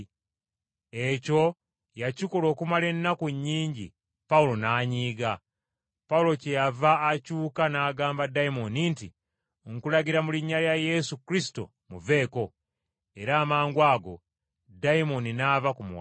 Ekyo yakikola okumala ennaku nnyingi Pawulo n’anyiiga. Pawulo kyeyava akyuka n’agamba ddayimooni nti, “Nkulagira mu linnya lya Yesu Kristo, muveeko!” Era amangwago dayimooni n’ava ku muwala.